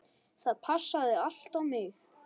Það passaði allt á mig.